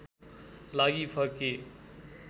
लागि फर्किए